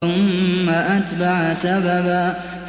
ثُمَّ أَتْبَعَ سَبَبًا